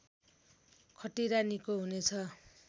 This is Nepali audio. खटिरा निको हुनेछ